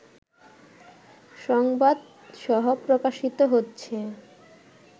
সংবাদসহ প্রকাশিত হচ্ছে